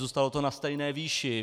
Zůstalo to na stejné výši.